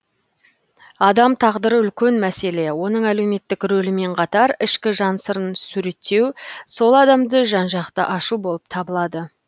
адам тағдыры үлкен мәселе оның әлеуметтік ролімен қатар ішкі жан сырын суреттеу сол адамды жан жақты ашу болып табылады